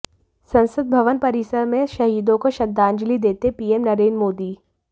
संसद भवन परिसर में शहीदों को श्रद्धांजलि देते पीएम नरेंद्र मोदी